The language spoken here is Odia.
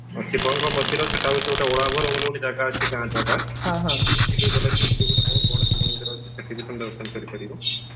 ଶିବଙ୍କ ମନ୍ଦିର ସେଇଟା ହଉଛି ଗୋଟେ ବୋଲି ଗୋଟେ ଜାଗା ଅଛି ଗାଁ ଜାଗା ସେଠିକି ଗଲେ ସେଠି ଗୋଟେ ବହୁତ ବଡ ଶିବ ମନ୍ଦିର ଅଛି ସେଠି ବି ତମେ ଦର୍ଶନ କରିପାରିବ